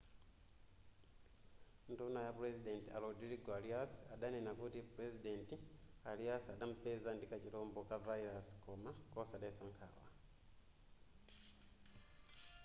nduna ya president a rodrigo arias adanena kuti pulezidenti arias adampeza ndi kachilombo ka virus koma kosadetsa nkhawa